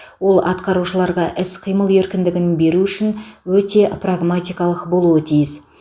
ол атқарушыларға іс қимыл еркіндігін беру үшін өте прагматикалық болуы тиіс